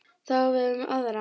Það á við um aðra.